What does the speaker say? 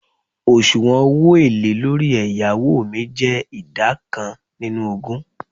osuwon owo ele lori eyawo mi je ida kan ninu ogun